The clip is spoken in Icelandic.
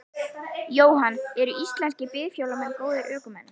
Jóhann: Eru íslenskir bifhjólamenn góðir ökumenn?